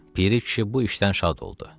Piri kişi bu işdən şad oldu.